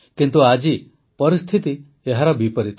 କିନ୍ତୁ ଆଜି ପରିସ୍ଥିତି ଏହାର ବିପରୀତ